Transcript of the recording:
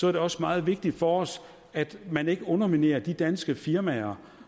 er det også meget vigtigt for os at man ikke underminerer de danske firmaer